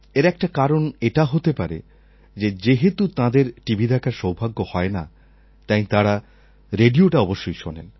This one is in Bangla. এর একটা কারণ এটা হতে পারে যে যেহেতু তাঁদের টিভি দেখার সৌভাগ্য হয় না তাই তাঁরা রেডিওটা অবশ্যই শোনেন